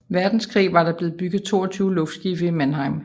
Verdenskrig var der blevet bygget 22 luftskibe i Mannheim